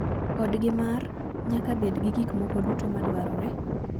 Odgi mar ' nyaka bed gi gik moko duto madwarore.